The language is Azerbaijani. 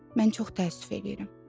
Mən çox təəssüf eləyirəm.